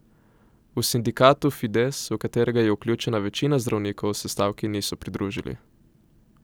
V sindikatu Fides, v katerega je vključena večina zdravnikov, se stavki niso pridružili.